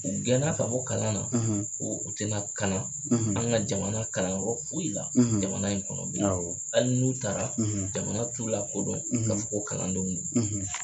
U gɛn na ka bɔ kalan na ko u tɛ na kalan an ka jamana kalanyɔrɔ foyi la jamana in kɔnɔ bilen hali n'u taara jamana t'u la kodɔn ka fɔ ko kalandenw do.